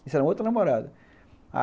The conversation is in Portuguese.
Isso era uma outra namorada.